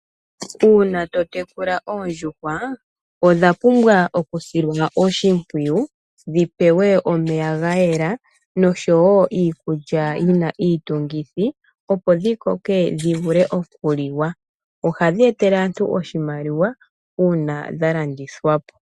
Uuna to tekula oondjuhwa odha pumbwa okusilwa oshimpwiyu, dhi pewe omeya ga yela noshowo iikulya yi na iitungithi, opo dhi koke dhi vule okuliwa. Ohadhi etele aantu oshimaliwa, uuna dha landithwa po.